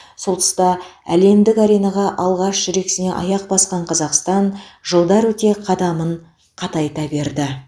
сол тұста әлемдік аренаға алғаш жүрексіне аяқ басқан қазақстан жылдар өте қадамын қатайта берді